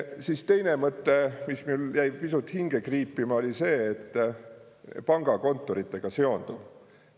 Siis teine mõte, mis mul jäi pisut hinge kriipima, oli see, et pangakontoritega seonduv.